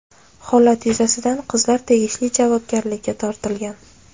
Holat yuzasidan qizlar tegishli javobgarlikka tortilgan.